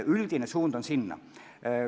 Üldine suund on sellele.